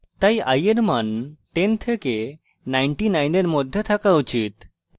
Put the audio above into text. তাই i এর মান 10 থেকে 99 এর মধ্যে থাকা উচিত